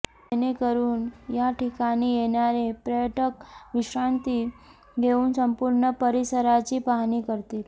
जेणेकरून याठिकाणी येणारे पर्यटक विश्रांती घेवून संपूर्ण परिसराची पाहणी करतील